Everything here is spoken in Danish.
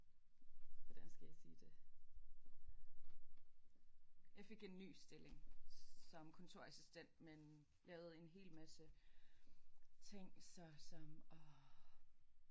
Hvordan skal jeg sige det. Jeg fik en ny stilling som kontorassistent men lavede en hel masse ting så som orh